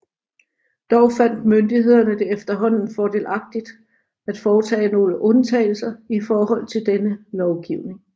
Dog fandt myndighederne det efterhånden fordelagtigt at foretage nogle undtagelser i forhold til denne lovgivning